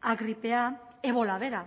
a gripea ebola bera